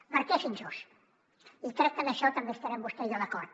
per què és injust i crec que en això també hi estarem vostè i jo d’acord